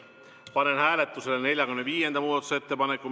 Panen hääletusele 45. muudatusettepaneku.